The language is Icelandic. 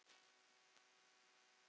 Og hér vandast málið.